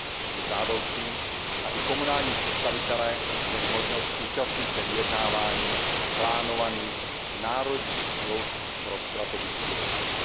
Je žádoucí, aby komunální představitelé měli možnost účastnit se vyjednávání plánovaných národních smluv pro strategický rozvoj.